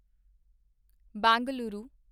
Bengaluru